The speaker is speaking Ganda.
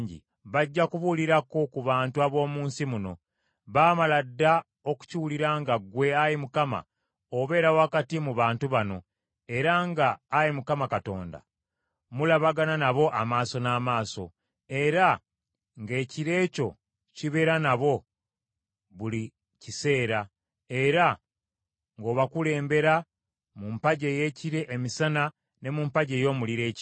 Bajja kubuulirako ku bantu ab’omu nsi muno. Baamala dda okukiwulira nga ggwe, Ayi Mukama , obeera wakati mu bantu bano, era nga, Ayi Mukama Katonda, mulabagana nabo amaaso n’amaaso, era ng’ekire kyo kibeera nabo buli kiseera, era ng’obakulemberera mu mpagi ey’ekire emisana ne mu mpagi ey’omuliro ekiro.